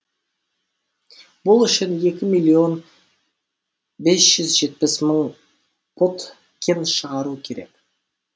бұл үшін екі миллион бес жүз жетпіс мың пұт кен шығару керек